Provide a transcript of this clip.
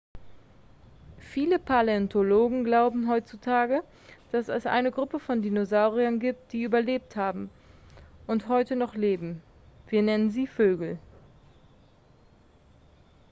viele paläontologen glauben heutzutage dass es eine gruppe von dinosauriern gibt die überlebt haben und heute noch leben wir nennen sie vögel